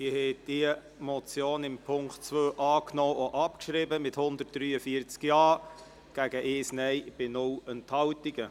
Sie haben die Motion im Punkt 2 angenommen und abgeschrieben mit 143 Ja-Stimmen gegen 1 Nein-Stimme bei keiner Enthaltung.